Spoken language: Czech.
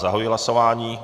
Zahajuji hlasování.